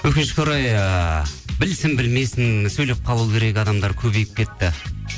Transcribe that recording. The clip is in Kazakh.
өкінішке орай ыыы білсін білмесін сөйлеп қалу керек адамдар көбейіп кетті